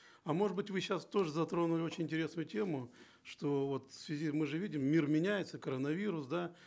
а может быть вы сейчас тоже затронули очень интересную тему что вот в связи мы же видим мир меняется коронавирус да